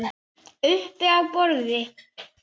Uppi á borði?